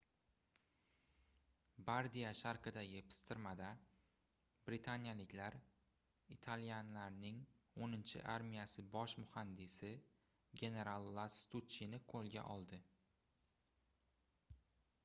bardiya sharqidagi pistirmada britaniyaliklar italyanlarning oʻninchi armiyasi bosh muhandisi genaral lastuchchini qoʻlga oldi